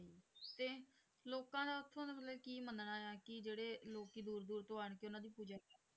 ਤੇ ਲੋਕਾਂ ਦਾ ਉੱਥੋਂ ਦਾ ਮਤਲਬ ਕੀ ਮੰਨਣਾ ਹੈ ਕਿ ਜਿਹੜੇ ਲੋਕੀ ਦੂਰ ਦੂਰ ਤੋਂ ਆਣ ਕੇ ਉਹਨਾਂ ਦੀ ਪੂਜਾ